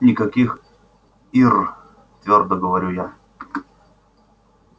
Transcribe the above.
никаких ир твёрдо говорю я